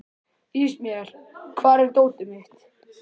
Ismael, hvar er dótið mitt?